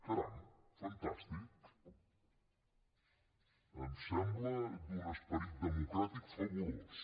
caram fantàstic em sembla d’un esperit democràtic fabulós